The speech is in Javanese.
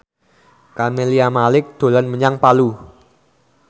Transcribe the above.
Camelia Malik dolan menyang Palu